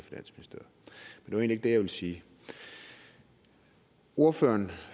var egentlig ikke det jeg ville sige ordføreren